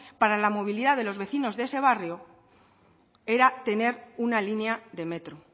la movilidad de los vecinos de ese barrio era tener una línea de metro